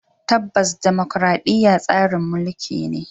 Tabbas dimokuradiyya tsarin mulki ne.